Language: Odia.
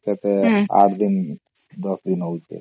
କେତେ ୮ ଦିନ ୧୦ ଦିନ ହଉଛେ